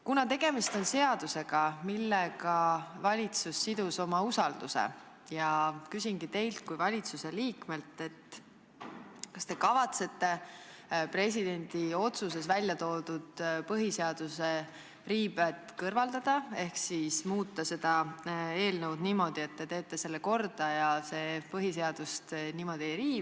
Kuna tegemist on seadusega, millega valitsus sidus oma usalduse, ma küsingi teilt kui valitsuse liikmelt: kas te kavatsete presidendi otsuses välja toodud põhiseaduse riived kõrvaldada ehk siis muuta seda eelnõu niimoodi, et te teete selle korda ja see põhiseadust ei riiva?